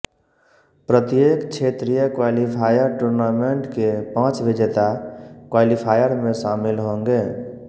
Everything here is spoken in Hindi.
प्रत्येक क्षेत्रीय क्वालीफायर टूर्नामेंट के पांच विजेता क्वालीफायर में शामिल होंगे